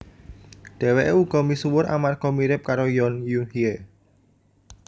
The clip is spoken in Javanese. Dheweke uga misuwur amarga mirip karo Yoon Eun Hye